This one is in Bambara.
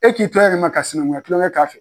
E k'i to ka sinankunya tulonkɛ k'a fɛ.